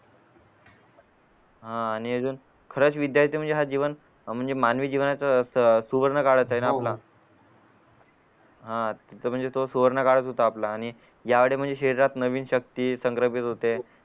हा आणि अजून खरंच विद्यार्थी म्हणजे हा जीवन म्हणजे मानवी जीवनच सु सुवर्ण काळच ये ना आपला हा तर तो सुवर्ण काळच होता आपला आणि यावेळी म्हणजे शहरात नवीन शक्ती संग्रह भेद होते